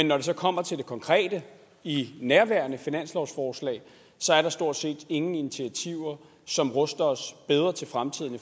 når det så kommer til det konkrete i nærværende finanslovsforslag er der stort set ingen initiativer som ruster os bedre til fremtiden i